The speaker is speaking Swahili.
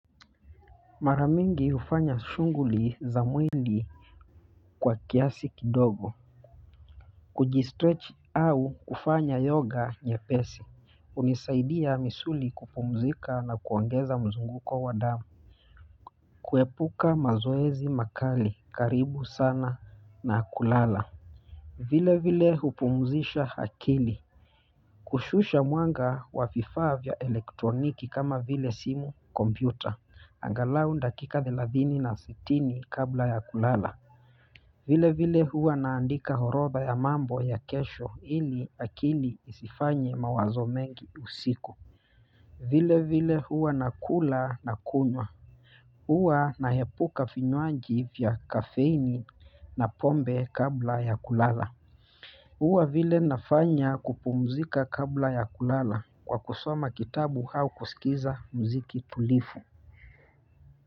Mara mingi hufanya shughuli za mwili kwa kiasi kidogo, kujistretch au ufanya yoga nyepesi hunisaidia misuli kupumzika na kuongeza mzunguko wa damu kuepuka mazoezi makali karibu sana na kulala vile vile hupumzisha akili kushusha mwanga wa vifaa vya elektroniki kama vile simu, kompyuta angalau dakika thelathini na sitini kabla ya kulala vile vile huwa naandika orodha ya mambo ya kesho, ili akili isifanye mawazo mengi usiku vile vile huwa nakula na kunywa huwa naepuka vinywaji vya kafeini na pombe kabla ya kulala huwa vile nafanya kupumzika kabla ya kulala kwa kusoma kitabu au kusikiza muziki tulivu.